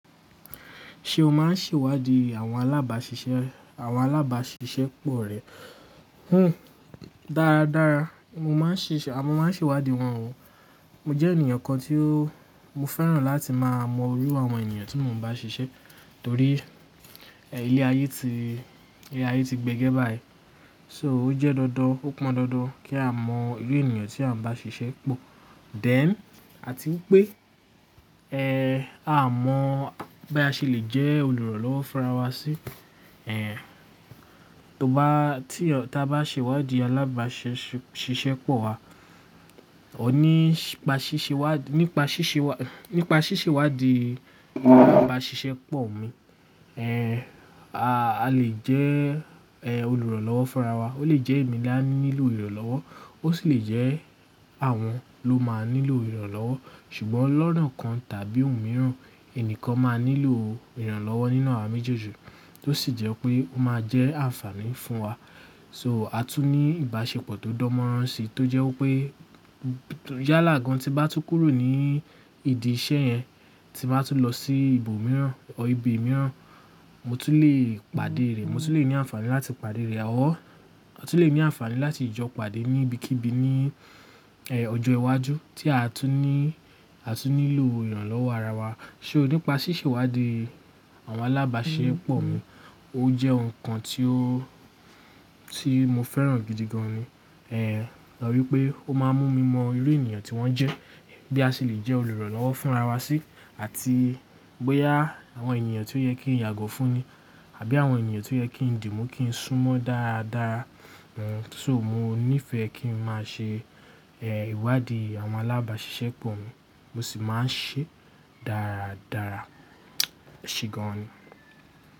Ṣé o máa ń ṣèwádìí àwọn alábàṣiṣẹ́, àwọn alábàṣiṣẹ́ pọ̀ rẹ? Hmmm, dáradára. Mo máa ń ṣèwádìí wọ́n o. Mo jẹ́ ènìyàn kan tí ó, mo fẹ́ràn láti máa mọ irú àwọn ènìyàn tí mo ń bá ṣiṣẹ́ torí, ẹ́, ilé ayé ti, ẹ́, ilé ayé ti gbẹ́gẹ́ báyìí. So ó jẹ́ dọ́dọ́, ó pọn dọ́dọ́ kí a mọ irú ènìyàn tí à ń bá ṣiṣẹ́ pọ̀. Then, àti pé, ẹ́, a mọ̀ bí a ṣe lè jẹ́ olùrànlọ́wọ́ fún ara wa sí. Ẹ̀, tó bá, tí a bá ṣèwádìí alábàṣiṣẹ́ pọ̀ wa, ó nípa ṣíṣe wádìí, nípa ṣíṣe wádìí, nípa ṣíṣe wádìí alábàṣiṣẹ́ pọ̀ mi, ẹ́, a lè jẹ́, ẹ́, olùrànlọ́wọ́ fún ara wa. Ó lè jẹ́ èmi la ń nílò ìrànlọ́wọ́, ó sì lè jẹ́ àwọn ló máa nílò ìrànlọ́wọ́. Ṣùgbọ́n lọ́nà kan tàbí òun mìíràn, ẹni kan máa nílò ìrànlọ́wọ́ nínú àwa méjèèjì tó sì jẹ́ pé ó máa jẹ́ àǹfààní fún wa. So a tún ní ìbáṣepọ̀ tó dán mọ́rán si tó jẹ́ pé yálà gan tí bá tú kúrò ní ìdí iṣẹ́ yẹn, tí bá tú lọ sí ibòmíràn ọ́ ibi mìíràn, mo tún lè pàdé rẹ̀, mo tún lè ní àǹfààní láti pàdé rẹ̀. Or, a tún lè ní àǹfààní láti jọ pàdé níbikíbi ní, ẹ́, ọjọ́ iwájú tí a tún ní, a tún nílò ìrànlọ́wọ́ ara wa. Ṣo, nípa ṣíṣe ìwádí àwọn alábàṣiṣẹ́ pọ̀ mi, ó jẹ́ nǹkan tí ó, tí mo fẹ́ràn gidi gan ni. Ẹ̀, lọ́ wípé ó máa ń mú mi mọ irú ènìyàn tí wón jẹ́, bí a ṣe lè jẹ́ olùrànlọ́wọ́ fún ara wa sí àti bóyá àwọn ènìyàn tí ó yẹ kí n yàgọ́ fún ni àbí àwọn ènìyàn tí ó yẹ kí n dì mú kí n sún mọ́ dáradára. Ṣo mo nífẹ̀ẹ́ kí n máa ṣe, ẹ́, ìwádìí àwọn alábàṣiṣẹ́ pọ̀ mi, mo sì máa ń ṣe dáradára. Kí gan ni?